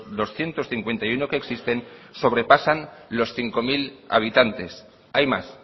doscientos cincuenta y uno que existen sobrepasan los cinco mil habitantes hay más